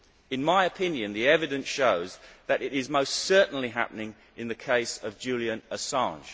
In my opinion, the evidence shows that it is most certainly happening in the case of Julian Assange.